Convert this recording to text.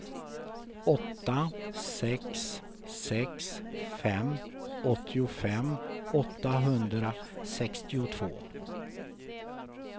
åtta sex sex fem åttiofem åttahundrasextiotvå